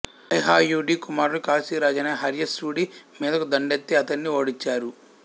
హైహయుడి కుమారులు కాశీరాజైన హర్యశ్వుడి మీదకు దండేత్తి అతడిని ఓడించారు